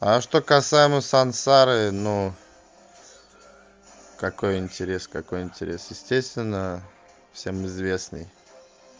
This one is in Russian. а что касаемо сансары ну какой интерес какой интерес естественно всем известный